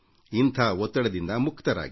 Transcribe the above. ಇಂಥ ಒತ್ತಡದಿಂದ ಮುಕ್ತರಾಗಿ